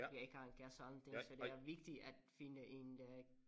Jeg ikke har en kæreste og anden ting så det er vigtigt at finde en øh